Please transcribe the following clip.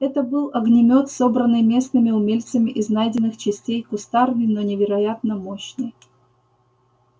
это был огнемёт собранный местными умельцами из найденных частей кустарный но невероятно мощный